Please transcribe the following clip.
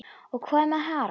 Og hvað með Harald?